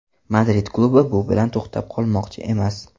Madrid klubi bu bilan to‘xtab qolmoqchi emas.